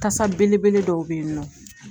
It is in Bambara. Kasa belebele dɔw bɛ yen nɔ